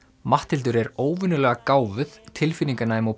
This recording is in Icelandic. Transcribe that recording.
Matthildur er óvenjulega gáfuð tilfinninganæm og